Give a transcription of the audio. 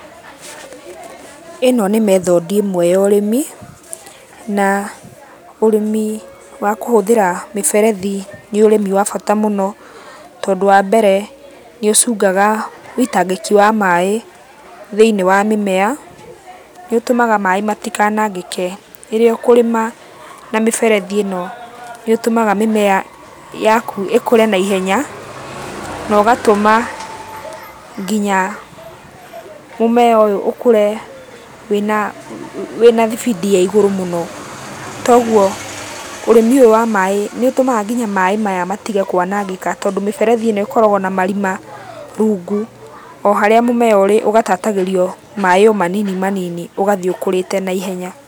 Ĩno nĩ method i ĩmwe ya ũrĩmi, na ũrĩmi wa kũhũthĩra mĩberethi nĩ ũrĩmi wa bata mũno, tondũ wambere, nĩũcungaga wĩitangĩki wa maĩ thĩiniĩ wa mĩmea, nĩũtũmaga maĩ matikanangĩke. Rĩrĩa ũkũrĩma na mĩberethi ĩno nĩĩtũmaga mĩmea yaku ĩkũre naihenya, na ũgatũma nginya mũmea ũyũ ũkũre wĩna wĩna thibindi ya igũrũ mũno. Toguo ũrĩmi ũyũ wa maĩ nĩũtũmaga kinya maĩ maya matige kwanangĩka tondũ mĩberethi ĩno ĩkoragũo na marima rungu o harĩa mũmea ũrĩ, ũgatatagĩrio maĩ o manini manini, ũgathiĩ ũkũrĩte naihenya.